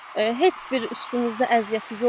heç bir üstünüzdə əziyyəti yoxdur.